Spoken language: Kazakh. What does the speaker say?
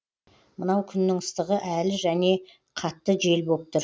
мынау күннің ыстығы әлі және қатты жел боп тұр